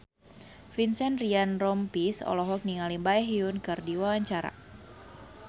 Vincent Ryan Rompies olohok ningali Baekhyun keur diwawancara